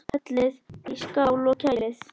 Hellið í skál og kælið.